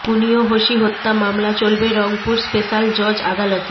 conio Hoshi হত্যা মামলা চলবে রংপুর স্পেশাল জজ আদালতে